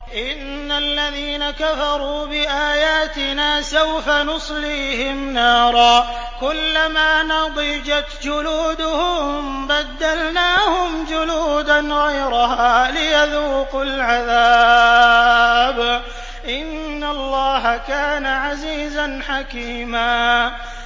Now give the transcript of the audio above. إِنَّ الَّذِينَ كَفَرُوا بِآيَاتِنَا سَوْفَ نُصْلِيهِمْ نَارًا كُلَّمَا نَضِجَتْ جُلُودُهُم بَدَّلْنَاهُمْ جُلُودًا غَيْرَهَا لِيَذُوقُوا الْعَذَابَ ۗ إِنَّ اللَّهَ كَانَ عَزِيزًا حَكِيمًا